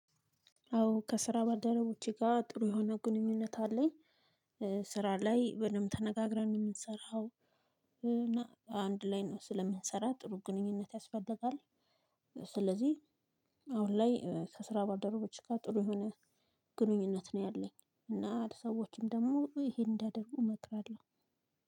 አዎ ከስራ ባልደረቦቼ ጋር ጥሩ የሆነ ግንኙነት አለኝ። ስራ ላይ በደንብ ተነጋግረን ነው የምንሰራው። አንድ ላይ ስለምንሰራ ጥሩ ግንኙነት ያስፈልጋል። ስለዚህ አሁን ላይ ከስራ ባልደረቦች ጋር ጥሩ የሆነ ግንኙነት ነው ያለኝ። እና ሰዎችም ደግሞ ይሄን እንዲያደርጉ እመክራለሁ።